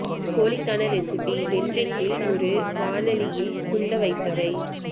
கோழி க்கான recipe ventricle ஒரு வாணலி இல் சுண்டவைத்தவை